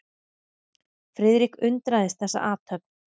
Friðrik undraðist þessa athöfn.